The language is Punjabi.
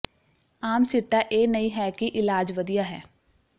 ਆਮ ਸਿੱਟਾ ਇਹ ਨਹੀਂ ਹੈ ਕਿ ਇਲਾਜ ਵਧੀਆ ਹੈ